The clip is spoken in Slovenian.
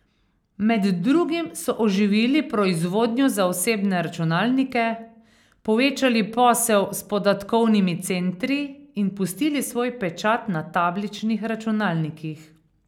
Med drugim so oživili proizvodnjo za osebne računalnike, povečali posel s podatkovnimi centri in pustili svoj pečat na tabličnih računalnikih.